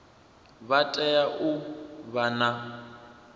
vha tea u vha na